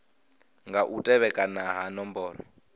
nga u tevhekana ha nomboro